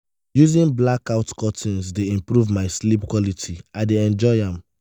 using blackout curtains dey improve my sleep quality; i dey enjoy am.